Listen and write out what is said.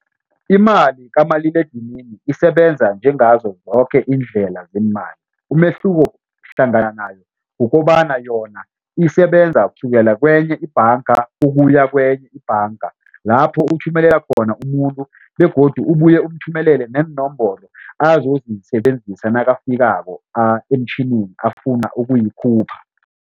Imali kamaliledinini isebenza njengazo zoke iindlela zeemali umehluko hlangana nayo kukobana yona isebenza kusukela kwenye ibhanga ukuya kwenye ibhanga lapho uthumelela khona umuntu begodu ubuye umthumelele neenomboro azozisebenzisa nakafikako emtjhinini afuna ukuyikhupha.